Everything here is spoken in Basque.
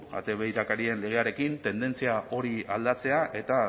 ate birakarien legearekin tendentzia hori aldatzea eta